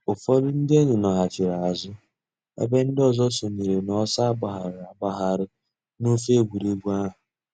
Ụ́fọ̀dù ńdí èn̄yì nọ̀chiri àzụ̀ èbè ńdí òzò sọǹyèrè n'ọ̀sọ̀ àgbàghàrì àgbàghàrì n'òfè ègwè́régwụ̀ àhụ̀.